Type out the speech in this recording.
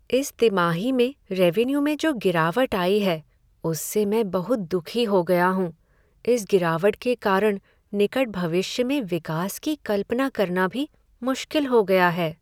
इस तिमाही में रेवेन्यू में जो गिरावट आई है, उससे मैं बहुत दुखी हो गया हूँ। इस गिरावट के कारण निकट भविष्य में विकास की कल्पना करना भी मुश्किल हो गया है।